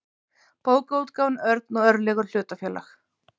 bókaútgáfan örn og örlygur hlutafélag